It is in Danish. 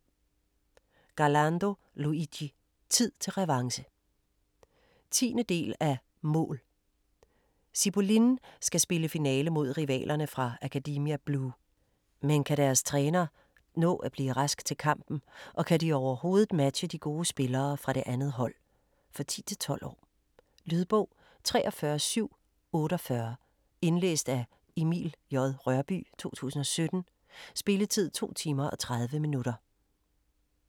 Garlando, Luigi: Tid til revanche 10. del af Mål!. Cipolline skal spille finale mod rivalerne fra Academia Blu. Men kan deres træner nå at blive rask til kampen og kan de overhovedet matche de gode spillere fra det andet hold? For 10-12 år. Lydbog 43748 Indlæst af Emil J. Rørbye, 2017. Spilletid: 2 timer, 30 minutter.